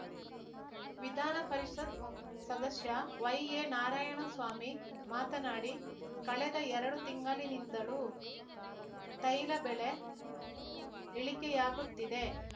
ವಿದಾನ ಪರಿಷತ್ ಸದಸ್ಯ ವೈಎನಾರಾಯಣಸ್ವಾಮಿ ಮಾತನಾಡಿ ಕಳೆದ ಎರಡು ತಿಂಗಳಿನಿಂದಲೂ ತೈಲ ಬೆಲೆ ಇಳಿಕೆಯಾಗುತ್ತಿದೆ